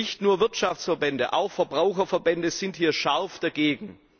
Nicht nur Wirtschaftsverbände, auch Verbraucherverbände sind hier stark dagegen.